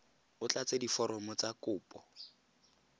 o tlatse diforomo tsa kopo